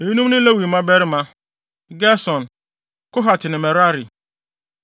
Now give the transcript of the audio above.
Eyinom ne Lewi mmabarima: Gerson, Kohat ne Merari.